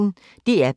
DR P1